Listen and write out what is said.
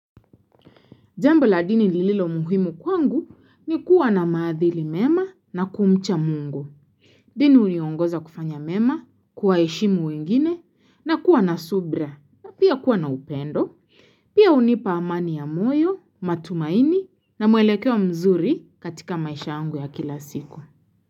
Jambo la dini lililo muhimu kwangu ni kuwa na maadili mema na kumcha mungu. Dini huniongoza kufanya mema, kuwaheshimu wengine na kuwa na subra na pia kuwa na upendo. Pia hunipa amani ya moyo, matumaini na mwelekeo mzuri katika maisha yangu ya kila siku.